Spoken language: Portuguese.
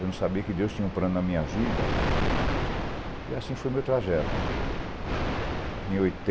Eu não sabia que Deus tinha um plano na minha vida e assim foi o meu trajeto.